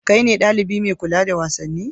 Kai ne ɗalibi mai kula da wasanni?